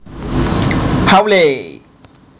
Hawley